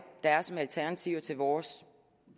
der er som alternativer til vores